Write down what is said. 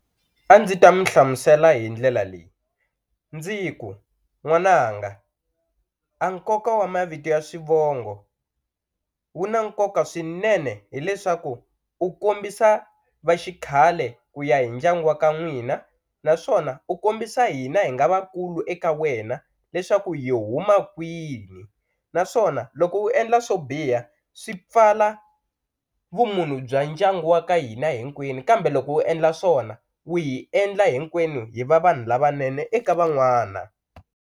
A ndzi ta mi hlamisela hi ndlela leyi ndzi ku n'wananga a nkoka wa mavito ya swivongo wu na nkoka swinene hileswaku u kombisa va xikhale ku ya hi ndyangu wa ka n'wina naswona u kombisa hina hi nga vakulu eka wena leswaku hi huma kwihi naswona loko u endla swo biha swi pfala vumunhu bya ndyangu wa ka hina hinkwenu kambe loko u endla swona u hi endla hinkwenu hi va vanhu lavanene eka van'wana.